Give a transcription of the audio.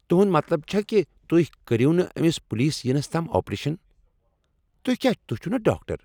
تُہنٛد مطلب چھا کہِ تُہۍ کٔرِو نہٕ أمِس پولیس یِنس تام آپریشن۔ تُہۍ کیاہ تُہۍ چِھو نا ڈاکٹر؟